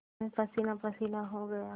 मैं पसीनापसीना हो गया